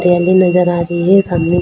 ट्रेनें नजर आ रही है। सामने।